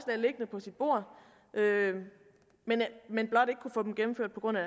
liggende på sit bord men blot ikke kunne få dem gennemført på grund af